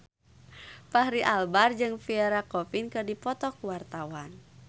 Fachri Albar jeung Pierre Coffin keur dipoto ku wartawan